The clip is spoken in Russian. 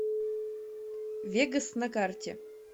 вегас на карте